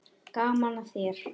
Gaman að þér!